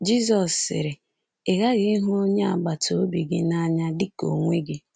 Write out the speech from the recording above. Jizọs sịrị: “Ị ghaghị ịhụ onye agbata obi gị n’anya dị ka onwe gị.